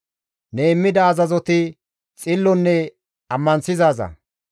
Ne immida azazoti xillonne ammanththizaaza.